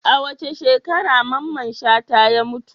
A wace shekara Mamman Shata ya mutu?